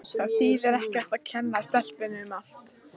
Það þýðir ekkert að kenna stelpunni um allt.